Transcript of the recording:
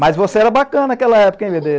Mas você era bacana naquela época, hein, bê dê?